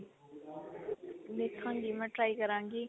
ਦੇਖਾਂਗੀ ਮੈਂ try ਕਰਾਂਗੀ